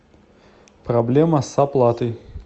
проблема с оплатой